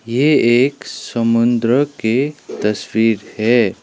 ये एक समुद्र के तस्वीर है।